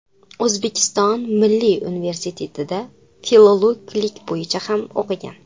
O‘zbekiston milliy universitetida filologlik bo‘yicha ham o‘qigan.